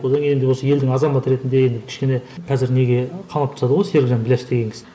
одан кейін осы елдің азаматы ретінде енді кішкене қазір неге қамап тастады ғой серікжан біләш деген кісіні